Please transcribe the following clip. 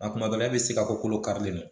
A kuma dɔ la e bɛ se ka kolo karilen don